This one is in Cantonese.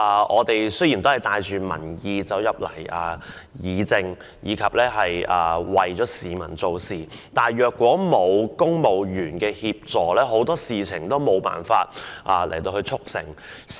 我們帶着民意進入議會議政，為市民做事，但如果沒有公務員協助，很多事情皆無法促成。